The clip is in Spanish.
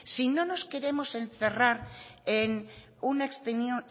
si no nos queremos encerrar en una